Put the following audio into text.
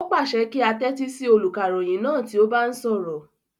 O pàṣẹ kí á tẹ́tí sí olùkàròyìn náà tí ó bá ń sọ̀rọ̀